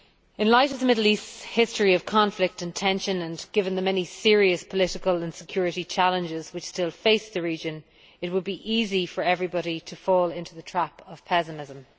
In light of the Middle East's history of conflict and tension, and given the many serious political and security challenges which still face the region, it would be easy for everybody to fall into the trap of pessimism.